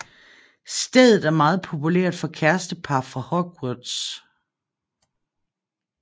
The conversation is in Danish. Stedet er meget populært for kærestepar fra Hogwarts